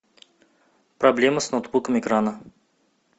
проблема с ноутбуком экрана